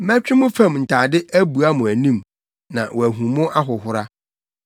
Mɛtwe mo fam ntade abua mo anim na wɔahu mo ahohora.